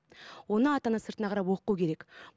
оны ата ана сыртына қарап оқу керек